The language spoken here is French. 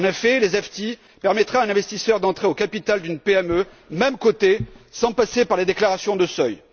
En effet, les ELTIF permettront à un investisseur d'entrer au capital d'une PME, même cotée, sans passer par les déclarations de seuil.